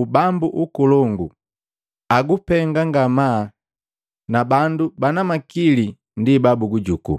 ubambu ukolongu agupenga ngamaa na bandu bana makili ndi babugujuku.